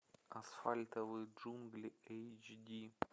асфальтовые джунгли эйч ди